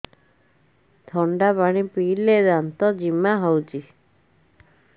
ଥଣ୍ଡା ପାଣି ପିଇଲେ ଦାନ୍ତ ଜିମା ହଉଚି